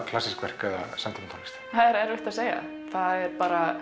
klassísk verk eða samtímatónlist það er erfitt að segja það er